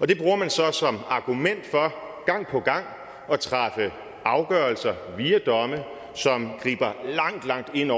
og det bruger man så som argument for gang på gang at træffe afgørelser via domme som griber langt langt ind